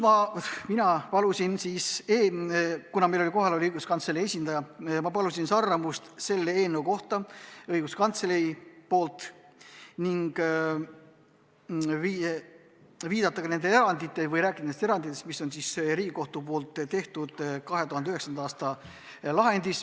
Mina palusin, kuna kohal oli õiguskantsleri esindaja, hinnangut selle eelnõu kohta õiguskantsleri seisukohalt ning rääkida nendest eranditest, mis on Riigikohtu tehtud 2019. aasta lahendis.